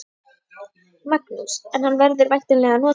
Magnús: En hann verður væntanlega notaður?